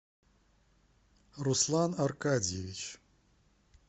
руслан аркадьевич